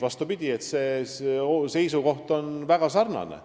Vastupidi, see seisukoht on meil väga sarnane.